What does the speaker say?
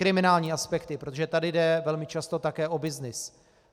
Kriminální aspekty, protože tady jde velmi často také o byznys.